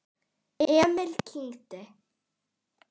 Emil kyngdi.